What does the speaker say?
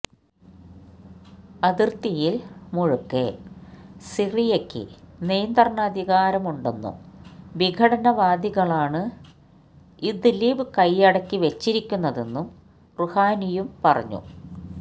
അതിര്ത്തിയില് മുഴുക്കെ സിറിയക്ക് നിയന്ത്രണാധികാരമുണ്ടെന്നും വിഘടനവാദികളാണ് ഇദ്ലിബ് കൈയടക്കിവെച്ചിരിക്കുന്നതെന്നും റുഹാനിയും പറഞ്ഞു